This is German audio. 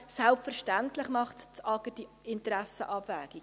Selbstverständlich macht das AGR eine Interessenabwägung.